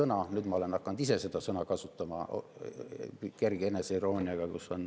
Ma olen ka ise hakanud seda sõna kasutama kerge eneseirooniaga.